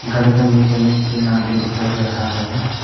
घर के नीचे में तीन आदमी दिखाई दे रहा है।